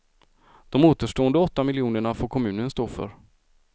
De återstående åtta miljonerna får kommunen stå för.